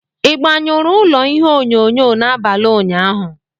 Ị gbanyụrụ ụlọ ihe onyonyo n'abalị ụnyaahụ?